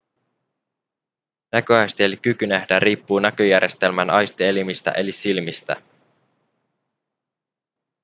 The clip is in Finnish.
näköaisti eli kyky nähdä riippuu näköjärjestelmän aistielimistä eli silmistä